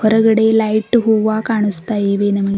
ಹೊರಗಡೆ ಲೈಟ್ ಹೂವ ಕಾಣಿಸ್ತಾ ಇವೆ ನಮಗೆ.